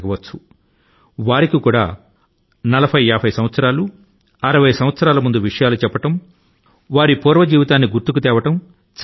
పెద్దవారు కూడా 40 50 60 ఏళ్ల జీవితాన్ని గుర్తు చేసుకోవడాన్ని ఇష్టపడతారు